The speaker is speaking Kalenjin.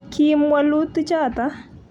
kiim wolutichoto